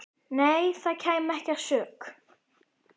Nei, það kæmi ekki að sök.